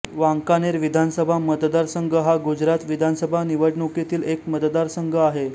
वांकानेर विधानसभा मतदारसंघ हा गुजरात विधानसभा निवडणुकीतील एक मतदारसंघ आहे